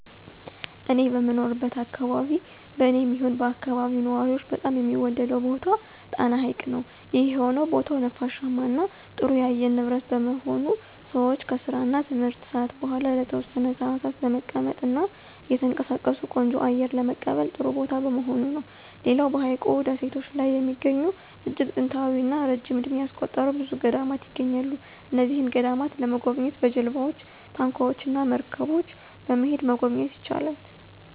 እኔ በምኖርበት አከባቢ በኔም ይሁን በአከባቢው ነዋሪዎች በጣም የሚወደደው ቦታ ጣና ሀይቅ ነው። ይህም የሆነው ቦታው ነፋሻማ እና ጥሩ የአየር ንብረት በመሆኑ ሰወች ከስራ እና ትምህርት ሰአት በኋላ ለተወሰነ ሰአታት በመቀመጥ እና እየተንቀሳቀሱ ቆንጆ አየር ለመቀበል ጥሩ ቦታ በመሆኑ ነው። ሌላው በሀይቁ ደሴቶች ላይ የሚገኙ እጅግ ጥንታዊ እና ረጅም እድሜ ያስቆጠሩ ብዙ ገዳማት ይገኛሉ። እነዚህን ገዳማት ለመጎብኘት በጀልባወች፣ ታንኳወች እና መርገቦች በመሄድ መጎብኘት ይቻላል።